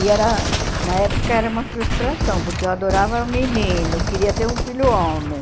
E era, na época era uma frustração, porque eu adorava menino, queria ter um filho homem.